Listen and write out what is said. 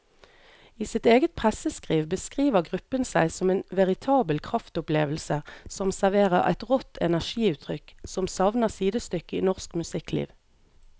I sitt eget presseskriv beskriver gruppen seg som en veritabel kraftopplevelse som serverer et rått energiutrykk som savner sidestykke i norsk musikkliv.